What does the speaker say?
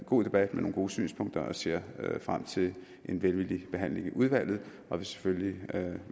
god debat med nogle gode synspunkter jeg ser frem til en velvillig behandling i udvalget og vil selvfølgelig